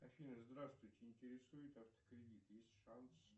афина здравствуйте интересует автокредит есть шанс